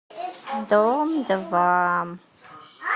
дом два